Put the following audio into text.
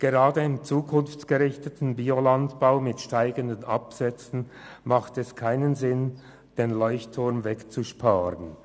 Gerade im zukunftsgerichteten Biolandbau mit seinen steigenden Absätzen hat es keinen Sinn, den Leuchtturm wegzusparen.